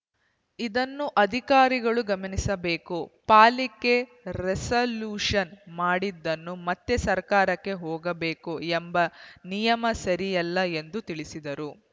ಇದನ್ನು ಅಧಿಕಾರಿಗಳು ಗಮನಿಸಬೇಕು ಪಾಲಿಕೆ ರೆಸಲ್ಯೂಷನ್‌ ಮಾಡಿದ್ದನ್ನು ಮತ್ತೆ ಸರಕಾರಕ್ಕೆ ಹೋಗಬೇಕು ಎಂಬ ನಿಯಮ ಸರಿಯಲ್ಲ ಎಂದು ತಿಳಿಸಿದರು